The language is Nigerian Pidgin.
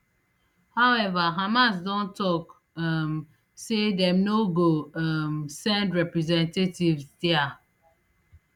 however hamas don tok um say dem no go um send representatives dia